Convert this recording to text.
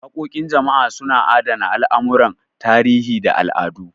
Waƙoƙin jama'a suna adana al'amuran tarihi da al'adu.